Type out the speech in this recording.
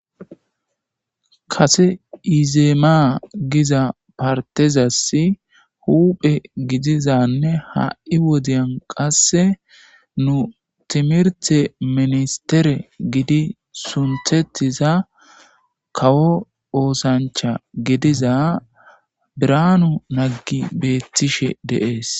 kase izeemaa giza partezassi huphe gidizanne ha7i wodiyan qasse nu timirte ministere gidi sunthetiza kawo oosancha gidiza biranu naggi beettishe deees